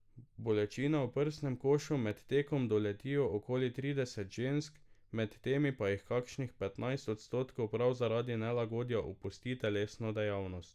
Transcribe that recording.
Bolečine v prsnem košu med tekom doletijo okoli trideset žensk, med temi pa jih kakšnih petnajst odstotkov prav zaradi nelagodja opusti telesno dejavnost.